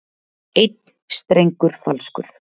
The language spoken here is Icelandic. Einn strengur falskur.